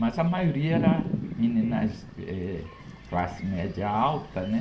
Mas a maioria era meninas, eh, classe média alta, né?